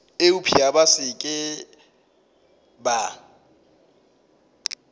eupša ba se ke ba